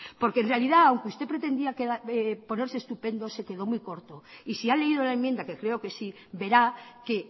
porque en realidad aunque usted pretendía ponerse estupendo se quedó muy corto y si ha leído la enmienda que creo que sí verá que